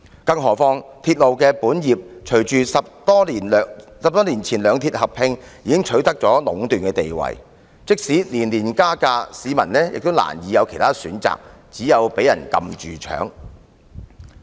更何況隨着兩鐵在10多年前合併，港鐵公司在營運鐵路的本業已取得壟斷地位，即使每年加價，市民也難有其他選擇，只有被人"撳住搶"。